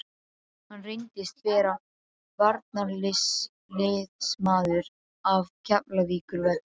Hann reyndist vera varnarliðsmaður af Keflavíkurvelli.